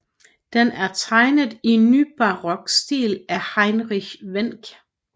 Den er tegnet i nybarok stil af Heinrich Wenck